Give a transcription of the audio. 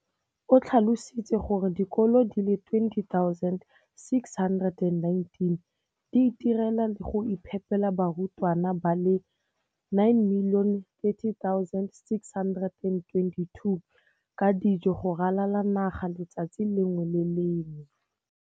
O tlhalositse gore dikolo di le 20 619 di itirela le go iphepela barutwana ba le 9 032 622 ka dijo go ralala naga letsatsi le lengwe le le lengwe.